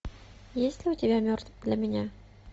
есть ли у тебя мертв для меня